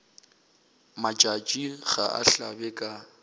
matšatši ga a hlabe ka